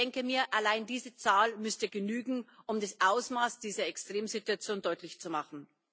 Ich denke mir, allein diese Zahl müsste genügen, um das Ausmaß dieser Extremsituation deutlich zu machen.